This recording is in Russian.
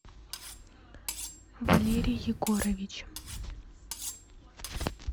валерий егорович